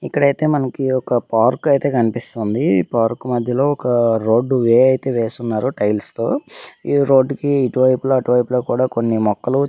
ఇక్కడైతే మనకి ఒక పార్క్ అయితే కనిపిస్తుంది ఈ పార్క్ మద్యలో ఒక రోడ్ వే అయితే వేస్తున్నారు టైల్స్ తో ఈ రోడ్ కి ఇటు వైపులా అటు వైపులా కూడా కొన్ని మొక్కలు --